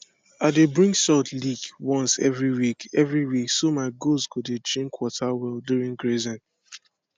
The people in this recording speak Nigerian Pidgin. i dey bring salt lick once every week every week so my goats go dey drink water well during grazing